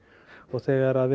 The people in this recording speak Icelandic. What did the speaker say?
þegar